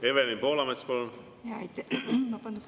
Evelin Poolamets, palun!